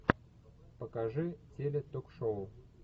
покажи теле ток шоу